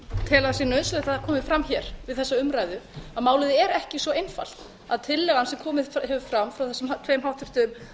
tel að sé nauðsynlegt að það komi fram hér við þessa umræðu að málið er ekki svo einfalt að tillagan sem komið hefur fram frá þessum tveim háttvirtu